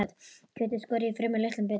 Kjötið skorið í fremur litla bita.